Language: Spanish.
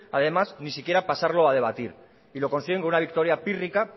además ni siquiera pasarlo a debatir y lo consiguen con una victoria pírrica